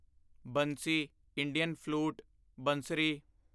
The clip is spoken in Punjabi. Bansi Indian flute ਬੰਸਰੀ